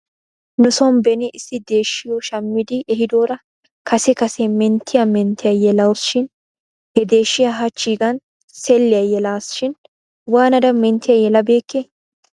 Nuson beni issi deeshshiyoo shammidi ehidoora kase kase menttiyaa menttiyaa yelaws shin he deeshiyaa hachchiigan selliyaa yelasi shin waanada menttiyaa yelabeekkee?